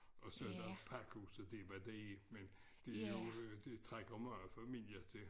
Og så der pakhuset det bare det men det jo det trækker mange familier til